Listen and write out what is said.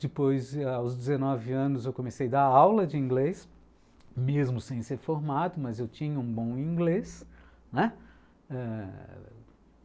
Depois, aos dezenove anos, eu comecei a dar aula de inglês, mesmo sem ser formado, mas eu tinha um bom inglês.